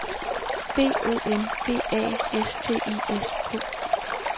B O M B A S T I S K